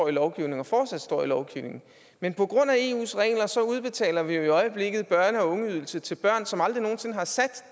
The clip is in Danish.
i lovgivningen og fortsat står i lovgivningen men på grund af eus regler udbetaler vi jo i øjeblikket børne og ungeydelse til børn som aldrig nogen sinde har sat